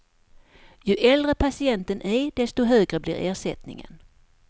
Ju äldre patienten är desto högre blir ersättningen.